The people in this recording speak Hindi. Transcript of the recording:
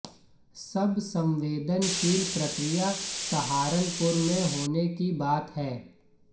सबसे संवेदनशील प्रक्रिया सहारनपुर में होने की बात है